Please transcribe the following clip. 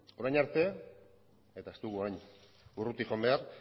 orain arte eta ez dugu orain urruti joan behar